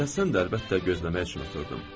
Tələsən də əlbəttə gözləmək üçün oturdum.